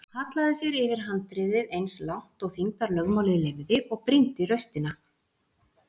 Hallaði sér yfir handriðið eins langt og þyngdarlögmálið leyfði og brýndi raustina.